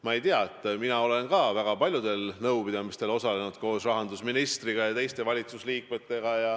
Ma ei tea, mina olen ka väga paljudel nõupidamistel osalenud koos rahandusministri ja teiste valitsusliikmetega.